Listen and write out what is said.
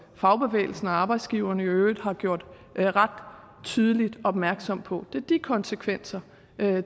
fagbevægelsen og arbejdsgiverne i øvrigt har gjort ret tydeligt opmærksom på det er de konsekvenser